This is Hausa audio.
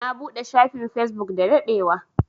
Na buɗe shafin Facebook da daɗewa.